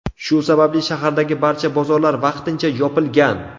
Shu sababli shahardagi barcha bozorlar vaqtincha yopilgan.